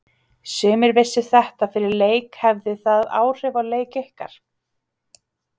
Sumir vissu þetta fyrir leik hafði það áhrif á leik ykkar?